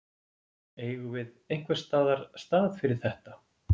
Eigum við einhvers staðar stað fyrir þetta?